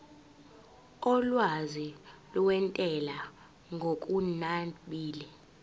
olwazi lwentela ngokunabile